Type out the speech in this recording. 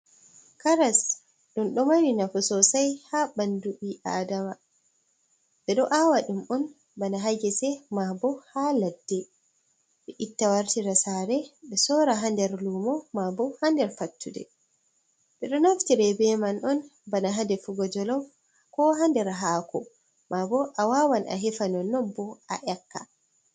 Karas ɗum ɗo mari nafu sosai ha ɓandu ɓiadama ɓe ɗo awa ɗum'on bana ha ngese mabo ha ladde ɓe itta wartira sare ɓe sora ha nder lumo mabo ha nder fattude, ɓe ɗo naftire beman on bana hadefugo jolof, ko ha nder hako, mabo a wawan a hefa nonon bo a yakka.